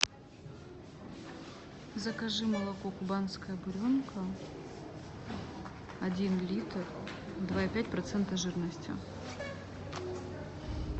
закажи молоко кубанская буренка один литр два и пять процента жирности